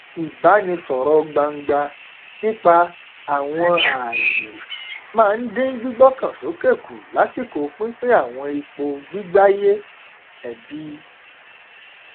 ìbánisọrọ gbangba nípa àwọn ààyè máa n dín gbígbọkàn sókè kù lásìkò pínpín àwọn ipò gbígbáyé ẹbí gbígbáyé ẹbí